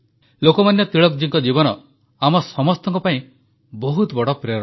ଲୋକମାନ୍ୟ ତିଳକ ଜୀଙ୍କ ଜୀବନ ଆମ ସମସ୍ତଙ୍କ ପାଇଁ ବହୁତ ବଡ଼ ପ୍ରେରଣା